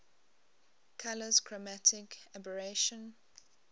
colours chromatic aberration